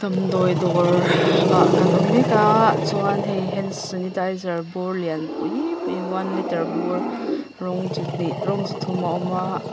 damdawi dawr ah kan awm mek a chuan hei hand sanitizer bur lian pui pui one litre bur rawng chi hnih rawng chi thum a awm a.